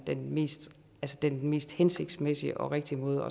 den mest den mest hensigtsmæssige og rigtige måde